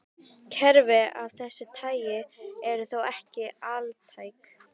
Kerfi af þessu tagi eru þó ekki altæk.